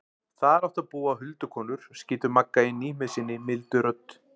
Þar áttu að búa huldukonur, skýtur Magga inn í með sinni mildu rödd.